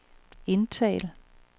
indtal